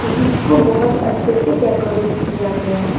जिसको बहुत अच्छे से डेकोरेट किया गया है।